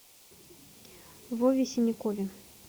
вове синякове